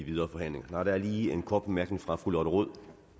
videre forhandlinger der er lige en kort bemærkning fra fru lotte rod